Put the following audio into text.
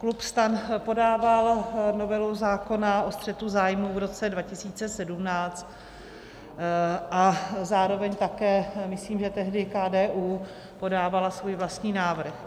Klub STAN podával novelu zákona o střetu zájmů v roce 2017 a zároveň také myslím, že tehdy KDU podávalo svůj vlastní návrh.